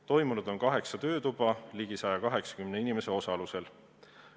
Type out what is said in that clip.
Toimunud on kaheksa töötuba ligi 180 inimese osalusel.